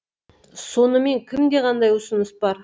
сонымен кімде қандай ұсыныс бар